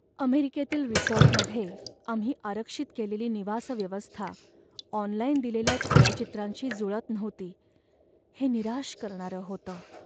अमेरिकेतील रिसॉर्टमध्ये आम्ही आरक्षित केलेली निवास व्यवस्था ऑनलाइन दिलेल्या छायाचित्रांशी जुळत नव्हती हे निराश करणारं होतं.